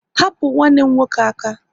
Hapu nwanne m nwoke aka!